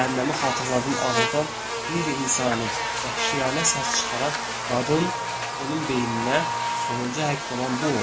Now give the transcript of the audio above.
Cəhənnəmi xatırladan ağrıdan qeyri-insani, vəhşiyana səs çıxaran qadın onun beyninə sonuncu həkk olan bu oldu.